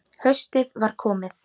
Haustið var komið.